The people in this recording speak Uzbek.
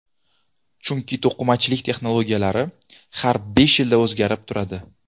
Chunki to‘qimachilik texnologiyalari har besh yilda o‘zgarib turadi.